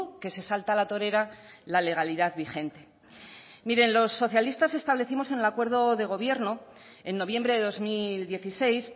que se salta a la torera la legalidad vigente miren los socialistas establecimos en el acuerdo de gobierno en noviembre de dos mil dieciséis